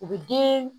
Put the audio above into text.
U bɛ den